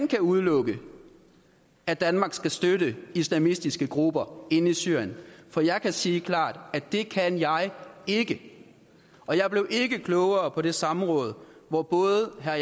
kan udelukke at danmark skal støtte islamistiske grupper inde i syrien for jeg kan sige klart at det kan jeg ikke og jeg blev ikke klogere på det samråd hvor både herre